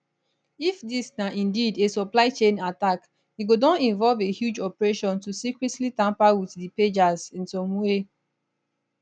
if dis na indeed a supply chain attack e go don involve a huge operation to secretly tamper with di pagers in some way